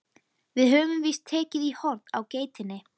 Við höfum víst tekið í horn á geitinni.